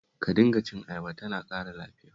Ka dinga cin ayaba, tana ƙara lafiya